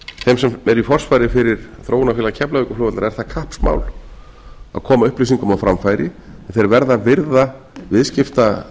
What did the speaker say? eru í forsvari fyrir þróunarfélag keflavíkurflugvallar er það kappsmál að koma upplýsingum á framfæri og þeir verða að virða viðskiptareglur